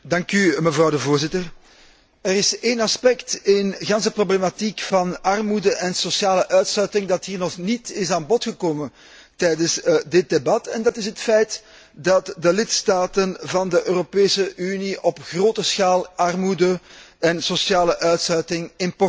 Voorzitter, er is één aspect in de problematiek van armoede en sociale uitsluiting dat hier nog niet aan bod is gekomen tijdens dit debat, en dat is het feit dat de lidstaten van de Europese Unie op grote schaal armoede en sociale uitsluiting importeren.